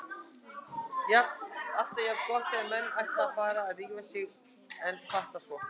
Alltaf jafn gott þegar menn ætla að fara að rífa sig en fatta svo